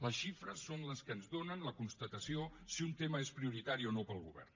les xifres són les que ens donen la constatació de si un tema és prioritari o no per al govern